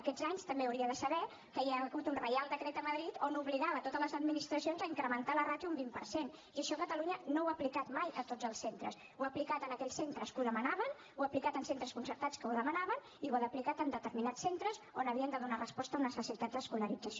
aquests anys també ho hauria de saber que hi ha hagut un reial decret a madrid que obligava totes les administracions a incrementar la ràtio un vint per cent i això catalunya no ho ha aplicat mai a tots els centres ho ha aplicat en aquells centres que ho demanaven ho ha aplicat en centres concertats que ho demanaven i ho ha aplicat en determinats centres on havien de donar resposta a necessitats d’escolarització